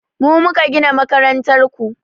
Mu muka gina makarantar ku